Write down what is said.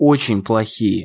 очень плохие